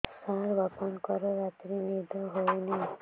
ସାର ବାପାଙ୍କର ରାତିରେ ନିଦ ହଉନି